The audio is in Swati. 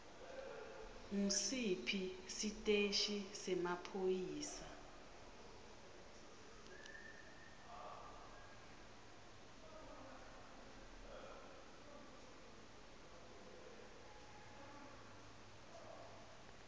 ngusiphi siteshi semaphoyisa